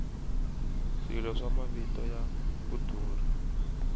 swilo swa mavito ya ku durha